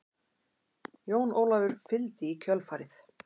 Jón Ólafur fylgdi í kjölfarið.